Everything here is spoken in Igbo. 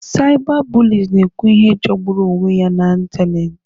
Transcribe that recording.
Cyberbullies na-ekwu ihe jọgburu onwe ya n'ịntanetị.